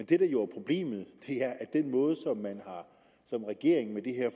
det der jo er problemet er at den måde som man som regering med det her